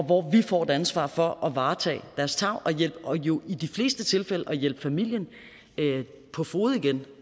hvor vi får et ansvar for at varetage deres tarv og jo i de fleste tilfælde at hjælpe familien på fode igen